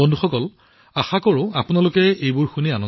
বন্ধুসকল মই আশা কৰিছো আপোনালোকে এয়া ভাল পাইছে